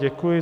Děkuji.